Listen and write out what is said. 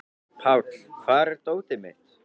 Páll, hvar er dótið mitt?